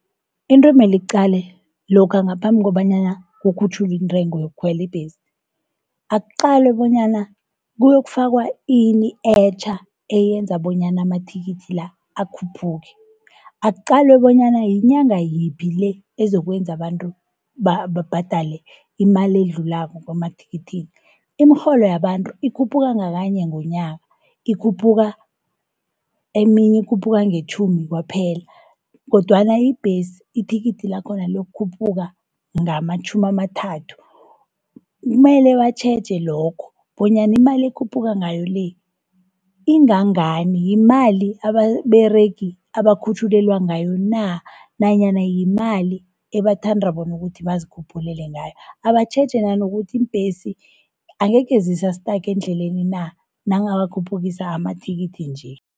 Into emeli iqalwe lokha ngaphambi kobanyana kukhutjhulwe intrengo yokukhwela ibhesi, akuqalwe bonyana kuyokufaka ini etjha eyenza bonyana amathikithi la akhuphuke. Aqalwe bonyana yinyanga yiphi le, ezokwenza bantu babhadale imali edlulako emathikithini. Imirholo yabantu ikhuphuka ngakanye ngonyaka, eminye ikhuphuka ngetjhumi kwaphela, kodwana ibhesi ithikithi lakhona liyokhuphuka ngamatjhumi-amathathu. Kumele batjheje lokho, bonyana imali ekhuphuka ngayo le, ingangani yimali ababeregi abakhutjhulelwa ngayo na, nanyana yimali ebathandra bona ukuthi bazikhuphulele ngayo. Abatjheje nanokuthi iimbhesi angekhe zisa-stage endleleni na, nangabe bakhuphukisa amathikithi nje.